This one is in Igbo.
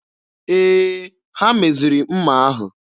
Ee, ha meziri mma ahụ.